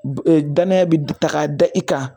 danaya bɛ ta k'a da i kan